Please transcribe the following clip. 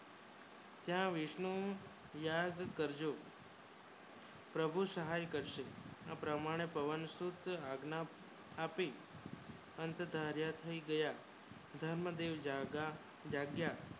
ના વિષ્ણુ પ્રમાણે યાદ કરજો પ્રભુ સહાય કરશે આ પ્રમાણે પવન સૂત્ર ની આજ્ઞા આપી અંત ધાર્યા થઈ ગયા ધન જોય ને ભાગ